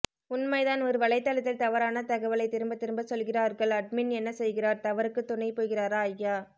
உண்மைதான் ஒரு வலைதளத்தில் தவறான தகவலை திரும்ப திரும்ப சொல்கிறார்கள் அட்மின் என்ன செய்கிறார் தவறுக்கு துணை போகிறாரா ஐயா